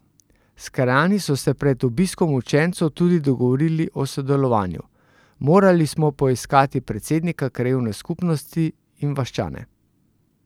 S krajani so se pred obiskom učencev tudi dogovorili o sodelovanju: "Morali smo poiskati predsednika krajevne skupnosti in vaščane.